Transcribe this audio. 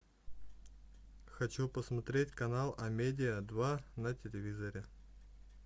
хочу посмотреть канал амедиа два на телевизоре